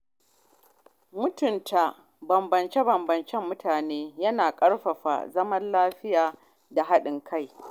Mutunta bambancin mutane yana ƙarfafa zaman lafiya da haɗin kai